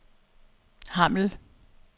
Hammel